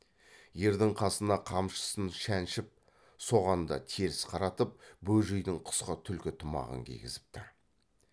ердің қасына қамшысын шәншіп соған да теріс қаратып бөжейдің қысқы түлкі тымағын кигізіпті